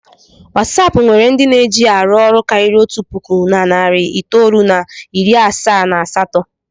Watsap nwere ndị na-eji ya arụ ọrụ karịrị otu puku na narị itoolu na iri asaa na asatọ.